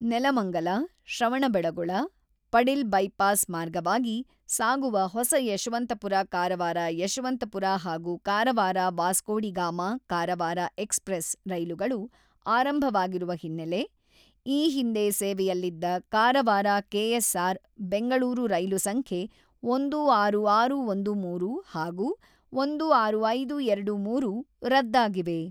Nelamangala Shravanabelagola, Padil bypass ಮಾರ್ಗವಾಗಿ ಸಾಗುವ ಹೊಸ ಯಶವಂತಪುರ-ಕಾರವಾರ ಯಶವಂತಪುರ ಹಾಗೂ ಕಾರವಾರ-ವಾಸ್ಕೋಡಿ ಗಾಮಾ-ಕಾರವಾರ ಎಕ್ಸ್‌ಪ್ರೆಸ್ ರೈಲುಗಳು ಆರಂಭವಾಗಿರುವ ಹಿನ್ನೆಲೆ, ಈ ಹಿಂದೆ ಸೇವೆಯಲ್ಲಿದ್ದ ಕಾರವಾರ-ಕೆಎಸ್‌ಆರ್‌-ಬೆಂಗಳೂರು ರೈಲು ಸಂಖ್ಯೆ ಒಂದು ಆರು ಆರು ಒಂದು ಮೂರು ಹಾಗೂ ಒಂದು ಆರು ಐದು ಎರಡು ಮೂರು ರದ್ದಾಗಿವೆ.